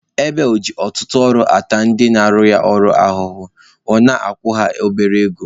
Ebel ji ọtụtụ ọrụ na-ata ndị ọrụ ya ahụhụ, ọ na-akwụkwa ha obere ego